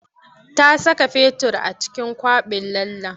Ta saka fetur a cikin kwaɓin lallen.